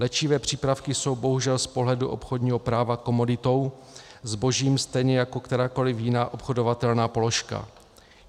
Léčivé přípravky jsou bohužel z pohledu obchodního práva komoditou, zbožím, stejně jako kterákoliv jiná obchodovatelná položka.